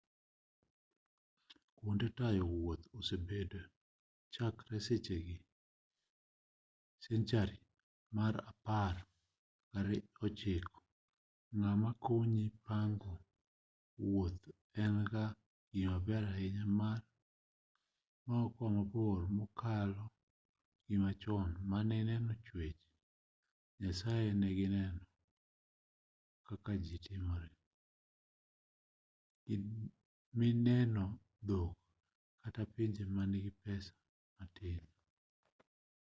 kuonde tayo wuoth osebedo chakre senchari mar apar gi ochiko ng'ama konyi pango wuoth en-ga gimaber ahinya mar wuoth mabor mokalo machon mane ineno chwech nyasaye nineno kaka ji timore nineno dhok kata pinje manigi pesa matin